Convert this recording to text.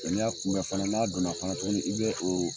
ni y'a kunbɛ fana n'a donna fana tuguni i bɛ o